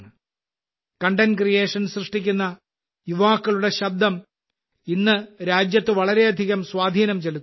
content creation സൃഷ്ടിക്കുന്ന യുവാക്കളുടെ ശബ്ദം ഇന്ന് രാജ്യത്തെ വളരെയധികം സ്വാധീനം ചെലുത്തുന്നുണ്ട്